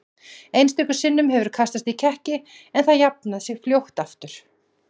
Einstöku sinnum hefur kastast í kekki en það jafnað sig fljótt aftur.